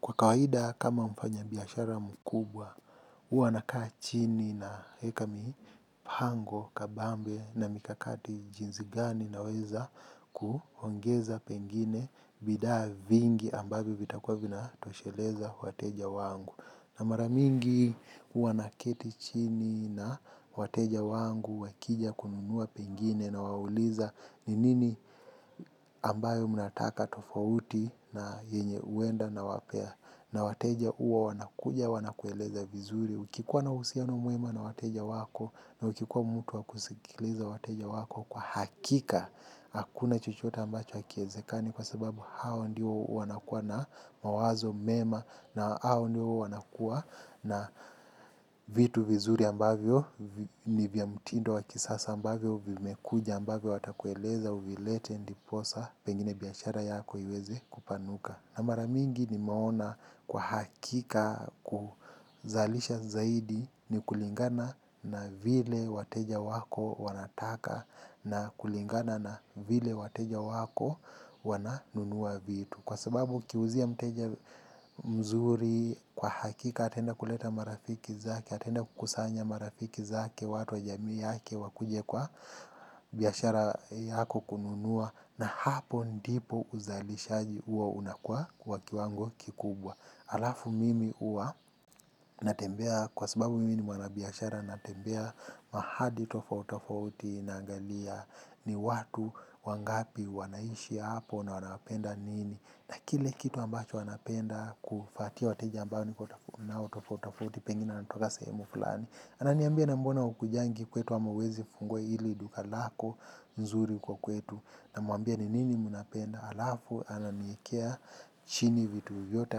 Kwa kawahida kama mfanya biashara mkubwa, uanakaa chini naeka mipango kabambe na mikakati jinzigani na weza kuhongeza pengine bidaa vingi ambavyo vitakua vina tosheleza wateja wangu. Na maramingi hua na keti chini na wateja wangu wakija kununua pengine nawauliza ni nini ambayo mnataka tofauti na yenye uenda na wapea. Na wateja uo wanakuja wanakueleza vizuri. Ukikuwa na uhusiano mwema na wateja wako na ukikuwa mtu wakusikiliza wateja wako kwa hakika, hakuna chochote ambacho hakiezekani. Kwa sababu hawa ndio wanakuwa na mawazo mema. Na hao ndio wanakuwa na vitu vizuri ambavyo nivyamtindo wakisasa ambavyo vimekuja ambavyo watakueleza uvilete ndiposa pengine biashara yako iweze kupanuka. Na mara mingi nimeona kwa hakika kuzalisha zaidi ni kulingana na vile wateja wako wanataka na kulingana na vile wateja wako wananunua vitu. Kwa sababu ukiuzia mteja mzuri kwa hakika atenda kuleta marafiki zake, atenda kukusanya marafiki zake watu wa jamii yake wakuje kwa biashara yako kununua na hapo ndipo uzalishaji huwa unakua kwa kiwango kikubwa. Alafu mimi uwa natembea kwa sababu mimi ni mwanabiashara natembea mahadi tofauti tofauti naangalia ni watu wangapi wanaishi hapo na wanapenda nini. Na kile kitu ambacho wanapenda kufatia wateja ambao nikona tofauti tofauti pengine anatoka sehemu fulani. Ananiambia na mbona hukujangi kwetu ama huwezi fungua hili duka lako nzuri huko kwetu. Na muambia ni nini munapenda alafu ananiekea chini vitu vyote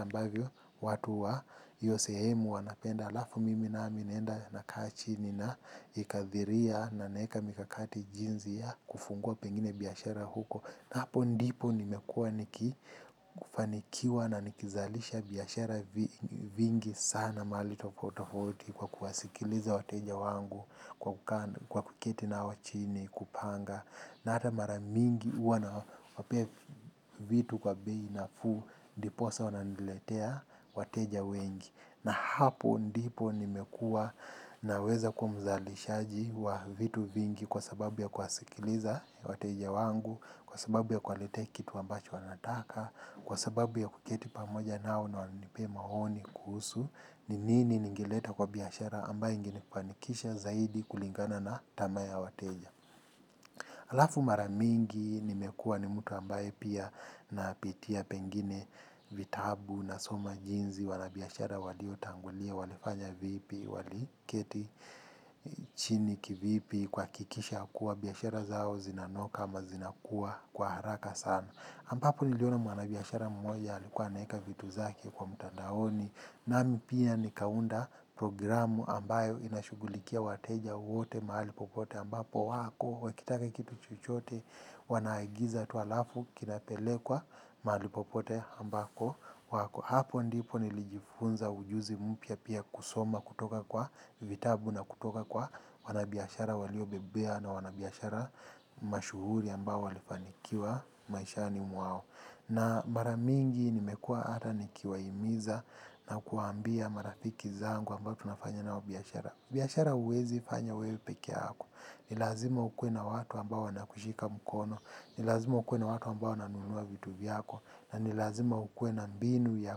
ambavyo watu wa hio sehemu wanapenda alafu mimi nami naenda nakaa chini na ikathiria na naeka mikakati jinzi ya kufungua pengine biashara huko. Na hapo ndipo nimekua niki kufanikiwa na nikizalisha biashara vingi sana mahali tofauti tofauti kwa kuwasikiliza wateja wangu kwa kuketi nao chini kupanga. Na ata maramingi huwa na wapea vitu kwa bei na fuu ndiposa wananiletea wateja wengi. Na hapo ndipo nimekua naweza kuwa mzalishaji wa vitu vingi kwa sababu ya kuwasikiliza wateja wangu, kwa sababu ya kuwaletea kitu ambacho wanataka, kwa sababu ya kuketi pamoja nao na wanipe mahoni kuhusu, ni nini ningeleta kwa biashara ambayo ingenifanikisha zaidi kulingana na tamaa ya wateja. Alafu maramingi nimekua ni mtu ambaye pia napitia pengine vitabu na soma jinzi wanabiashara walio tangulia walifanya vipi waliketi chini kivipi kuhakikisha kuwa biashara zao zinanoka ama zinakuwa kwa haraka sana. Ambapo niliona mwanabiashara mmoja alikuwa anaeka vitu zake kwa mtandaoni nami pia nikaunda programu ambayo inashugulikia wateja wote mahali popote ambapo wako wakitaka kitu chochote wanaagiza tu alafu kinapelekwa mahali popote ambako wako. Hapo ndipo nilijifunza ujuzi mpya pia kusoma kutoka kwa vitabu na kutoka kwa wanabiashara walio bebea na wanabiashara mashuhuri ambao walifanikiwa maishani mwao. Na maramingi nimekua hata nikiwa himiza na kuwaambia marafiki zangu ambao tunafanya nao biashara. Biashara huwezi fanya we pekeako. Nilazima ukue na watu ambao wana kushika mkono. Nilazima ukue na watu ambao wananunua vitu vyako. Na nilazima ukuwe na mbinu ya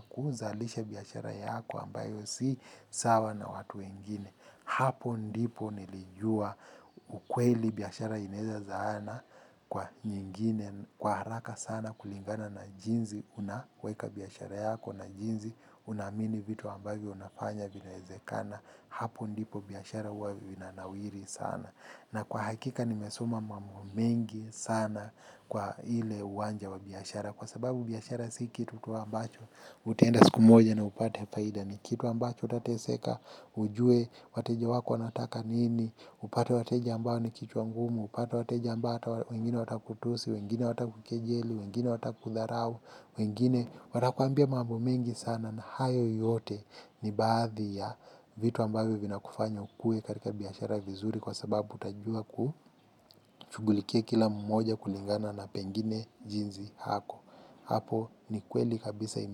kuzalisha biashara yako ambayo si sawa na watu wengine. Hapo ndipo nilijua ukweli biashara ineza zaana kwa nyingine kwa haraka sana kulingana na jinzi. Unaweka biashara yako na jinzi unaamini vitu ambavyo unafanya vinaezekana. Hapo ndipo biashara huwa vinanawiri sana. Na kwa hakika nimesoma mambo mengi sana kwa ile uwanja wa biashara. Kwa sababu biashara si kitu tu ambacho utenda siku moja na upate faida. Ni kitu ambacho utateseka, ujue, wateja wako wanataka nini, upate wateja ambao ni kichwa ngumu, upate wateja ambao wengine wata kutusi, wengine wata kukejeli, wengine wata kudharau, wengine. Watakuambia mambo mengi sana na hayo yote ni baadhi ya vitu ambavyo vina kufanya ukue katika biashara vizuri kwa sababu utajua kushugulikia kila mmoja kulingana na pengine jinzi hako hapo ni kweli kabisa ime.